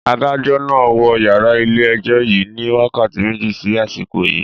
Adájọ́ máa wọ yàrá ilé ẹjọ́ yìí ni wákàtí méjì sí àsìkò yii